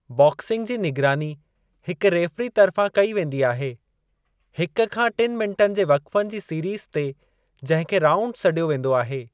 Boxing जी निगरानी हिकु रेफ़री तर्फ़ां कई वेंदी आहे। हिक खां टिनि मिंटनि जे वक़्फ़नि जी सीरीज़ ते जंहिं खे 'राऊंड' सॾियो वेंदो आहे